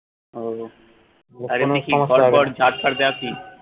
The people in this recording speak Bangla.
উহ আর এমনে কি ঘর দর ঝাঁট টাট দেয়া কি